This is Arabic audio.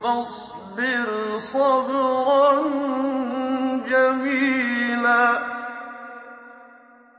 فَاصْبِرْ صَبْرًا جَمِيلًا